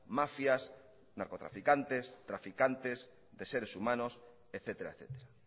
mafias narcotraficantes traficantes de seres humanos etcétera etcétera